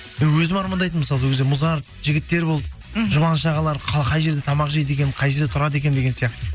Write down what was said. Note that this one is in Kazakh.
мен өзім армандайтынмын мысалы ол кезде музарт жігіттер болды мхм жұбаныш ағалар қай жерде тамақ жейді екен қай жерде тұрады екен деген сияқты